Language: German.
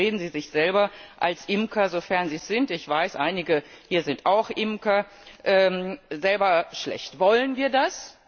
Und damit reden Sie sich selber als Imker, sofern Sie es sind ich weiß, einige hier sind auch Imker selber schlecht. Wollen wir das?